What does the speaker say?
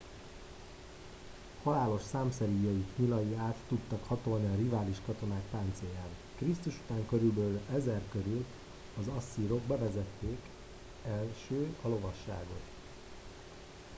halálos számszeríjaik nyilai át tudtak hatolni a rivális katonák páncélján krisztus után kb 1000 körül az asszírok bevezették első a lovasságot